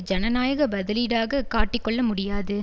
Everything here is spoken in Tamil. ஜனநாயக பதிலீடாக காட்டிக்கொள்ள முடியாது